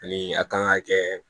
Ani a kan ka kɛ